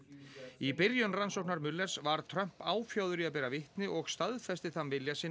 í byrjun rannsóknar var Trump áfjáður í að bera vitni og staðfesti þann vilja sinn